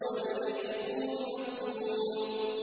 بِأَييِّكُمُ الْمَفْتُونُ